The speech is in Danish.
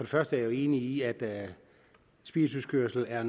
første er jeg enig i at spirituskørsel er og